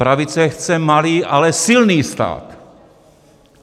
Pravice chce malý, ale silný stát!